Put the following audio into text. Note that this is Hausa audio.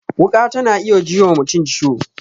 Wuƙa ta na iya ji wa mutum ciwo